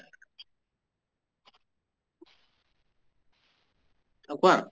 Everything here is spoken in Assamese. অ কোৱা